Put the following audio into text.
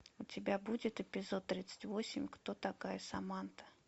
у тебя будет эпизод тридцать восемь кто такая саманта